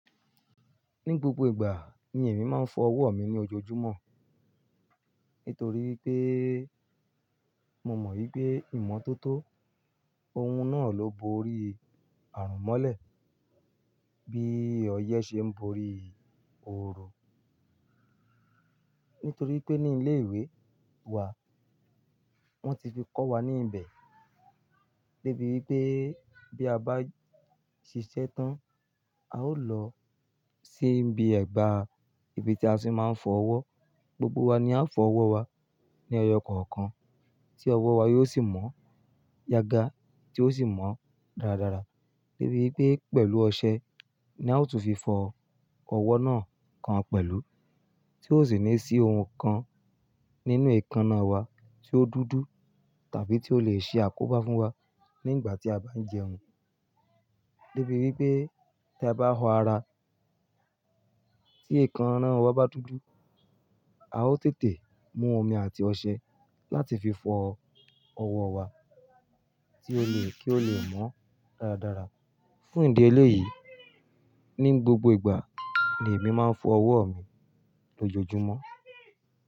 Ní gbogbo ìgbà ni èmi máa ń fọ ọwọ́ mi ní ojoojúmọ́ nítorí wi pé mo mọ̀ wípé ìmọ́tótó oun náà ló bo ori àrùn mọ́lẹ̀ bí ọyẹ́ ṣe ń bo ori ooru. Nítorí pé ní ilé ìwé wa wọ́n ti fi kọ́ wa ní ibẹ̀ débi wípé bí a bá ṣiṣẹ́ tán, a ó lọ sí ibi ẹ̀gbà ibi tí a sì máa ń fọ ọwọ́. Gbogbo wa ni a ó fọ ọwọ́ wa ní ọyọ́ kọ̀ọ̀kan tí ọwọ́ wa yóò sì mọ́ yaga tí ó sì mọ́ dáradára. Débi wípé pẹ̀lú ọṣẹ ni a ó tún fi fọ ọwọ́ náà kan pẹ̀lú tí ó sì ní sí oun kan nínú èékánná wa tí ó dúdú tàbí tí ó le ṣe àkóbá fún wa nígbà tí a bá ń jẹun. Débi wípé tí a bá họ ara tí èékánná wa bá dúdú, a ó tètè mú omi àti ọṣẹ láti fi fọ ọwọ́ wa tí ó le kí ó lè mọ́ dáradára. Fún ìdí eléyìí, ní gbogbo ìgbà ni èmi máa ń fọ ọwọ́ mi lójoojúmọ́.